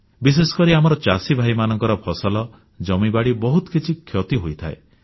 ବିଶେଷକରି ଆମର ଚାଷୀଭାଇମାନଙ୍କର ଫସଲ ଜମିବାଡ଼ି ବହୁତ କିଛି କ୍ଷତି ହୋଇଥାଏ